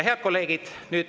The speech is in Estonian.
Head kolleegid!